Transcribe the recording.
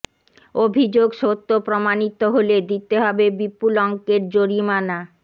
অভিযোগ সত্য প্রমাণিত হলে দিতে হবে বিপুল অঙ্কের জরিমানা